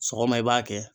Sɔgɔma i b'a kɛ